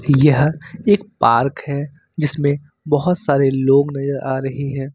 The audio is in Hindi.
यह एक पार्क है जिसमें बहोत सारे लोग नजर आ रही है।